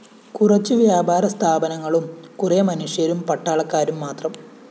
കുറച്ചു വ്യാപാര സ്ഥാപനങ്ങളും കുറെ മനുഷ്യരും പട്ടാളക്കാരും മാത്രം